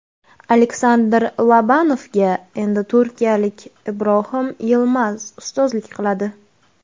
Aleksandr Lobanovga endi turkiyalik Ibrohim Yilmaz ustozlik qiladi.